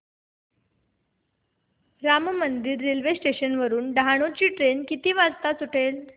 Ram Mandir railway station वरुन डहाणू ची train किती वाजता सुटेल